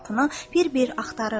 bir-bir axtarırdı.